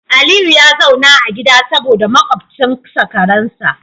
Aliyu ya zauna a gida saboda makwabcinsa karen sa